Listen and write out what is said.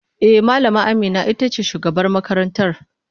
E, Malama Amina ita ce sabuwar shugaban makarantar.